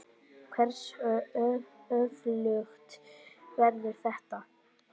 Hversu öflugt verður þetta?